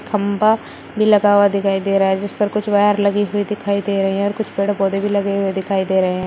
खंबा भी लगा हुआ दिखाई दे रहा है जिस पर कुछ वायर लगी हुई दिखाई दे रहे हैं और कुछ पेड़ पौधे भी लगे हुए दिखाई दे रहे हैं।